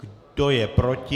Kdo je proti?